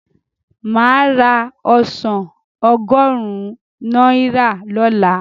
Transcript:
Máa ra ọsàn ọgọ́rùn-ún naira lola